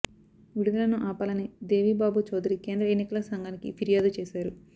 విడుదలను ఆపాలని దేవీబాబు చౌదరి కేంద్ర ఎన్నికల సంఘానికి ఫిర్యాదు చేశారు